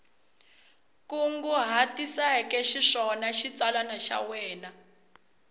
kunguhatiseke xiswona xitsalwana xa wena